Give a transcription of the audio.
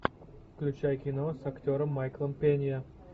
включай кино с актером майклом пенья